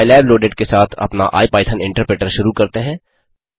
pylab loaded के साथ अपना इपिथॉन इंटरप्रिटर शुरू करते हैं